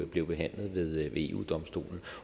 blev behandlet ved eu domstolen